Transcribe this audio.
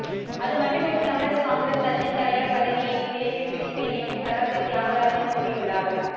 அது மட்டுமின்றி தமிழக காங்கிரஸ் கட்சியின் தலைவர் பதவியையும் விரைவில் பிடிப்பேன் என்று கராத்தே தியாகராஜன் கூறியுள்ளார்